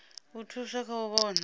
u thusa kha u vhona